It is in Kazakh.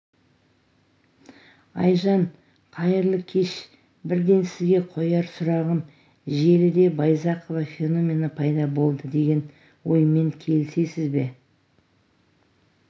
айжан қайырлы кеш бірден сізге қояр сұрағым желіде байзақова феномені пайда болды деген оймен келісесіз ба